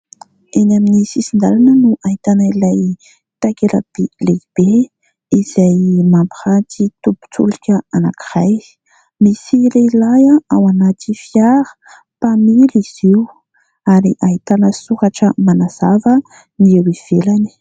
Eny amin'ny sisin-dalana no ahitana ilay takela-by lehibe izay mampiranty tobin-tsolika anankiray. Misy lehilahy ao anaty fiara, mpamily izy io, ary ahitana soratra manazava ny eo ivelany.